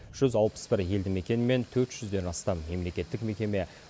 жүз алпыс бір елді мекен мен төрт жүзден астам мемлекеттік мекеме